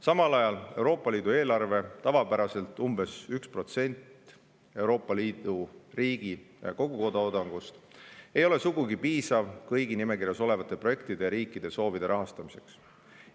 Samal ajal Euroopa Liidu eelarve – tavapäraselt umbes 1% Euroopa Liidu kogutoodangust – ei ole sugugi piisav kõigi nimekirjas olevate projektide ja riikide soovide rahastamiseks.